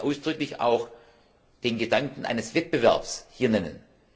h., ich will heute ausdrücklich auch den Gedanken eines Wettbewerbs hier nennen.